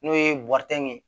N'o ye ye